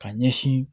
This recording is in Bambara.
Ka ɲɛsin